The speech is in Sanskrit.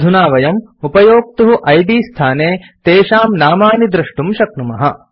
अधुना वयम् उपयोक्तुः इद् स्थाने तेषां नामानि द्रष्टुं शक्नुमः